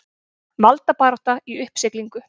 Valdabarátta í uppsiglingu